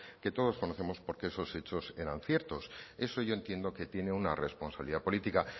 que todos conocemos porque esos hechos eran ciertos eso yo entiendo que tiene una responsabilidad política a